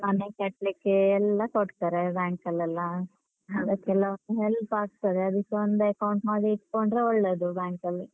ಮನೆ ಕಟ್ಲಿಕ್ಕೆ ಎಲ್ಲಾ ಕೊಡ್ತಾರೆ bank ಅಲ್ಲೆಲ್ಲ. help ಆಗ್ತದೆ. ಅದಕ್ಕೆ ಒಂದ್ account ಮಾಡಿ ಇಟ್ಕೊಂಡ್ರೆ ಒಳ್ಳೇದು bank ಅಲ್ಲಿ.